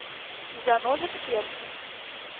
заноза в сердце